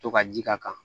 To ka ji k'a kan